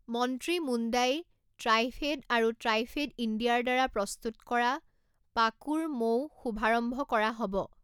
মন্ত্ৰী মুণ্ডাই ট্ৰাইফেড আৰু ট্ৰাইফেড ইণ্ডিয়াৰ দ্বাৰা প্ৰস্তুত কৰা পাকুৰ মৌও শুভাৰম্ভ কৰা হ’ব ।